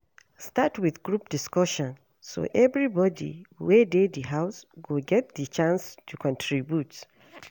Start with group discussion so everybody wey de di house go get di chance to contribute